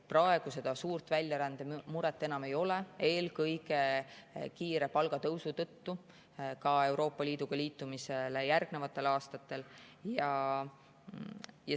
Praegu seda suure väljarände muret enam ei ole, eelkõige kiire palgatõusu tõttu Euroopa Liiduga liitumisele järgnevatel aastatel.